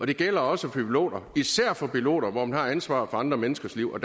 det gælder også for piloter især for piloter hvor man har ansvaret for andre menneskers liv og